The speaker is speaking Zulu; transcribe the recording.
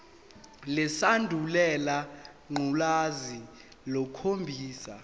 lesandulela ngculazi lukhombisa